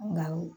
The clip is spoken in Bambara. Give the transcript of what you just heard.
Nka o